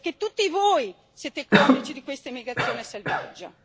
Perché tutti voi siete complici di questa immigrazione selvaggia.